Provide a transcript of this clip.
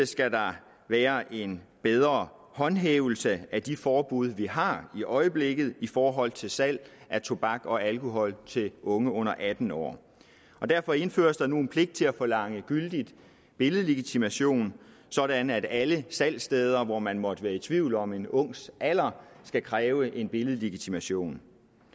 skal der være en bedre håndhævelse af de forbud vi har i øjeblikket i forhold til salg af tobak og alkohol til unge under atten år og derfor indføres der nu en pligt til at forlange gyldig billedlegitimation sådan at alle salgssteder hvor man måtte være i tvivl om en ungs alder skal kræve en billedlegitimation